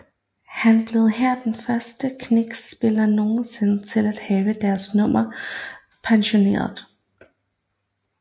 Han blev her den første Knicks spiller nogensinde til at have deres nummer pensioneret